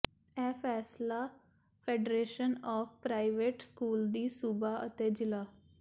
ਇਹ ਫੈਸਲਾ federation of private school ਦੀ ਸੂਬਾ ਅਤੇ ਜ਼ਿਲ੍ਹਾ